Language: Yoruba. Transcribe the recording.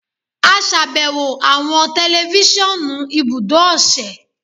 a ṣàbẹwò awọn tẹlifisiọnu ibudo ose